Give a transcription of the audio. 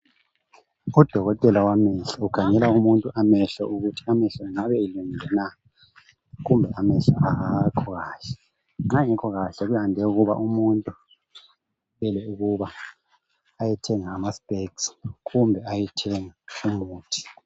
Odokotela wamehlo ukhangela umuntu amehlo ukuthi amehlo engabe elungile na kumbe amehlo awakho kahle nxa engekho kahle kuyande ukuba umuntu kumele ukuba ayethenga ama specs kumbe ayethenga umuthi.